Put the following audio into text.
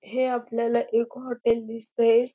हे आपल्याला एक हॉटेल दिसतय.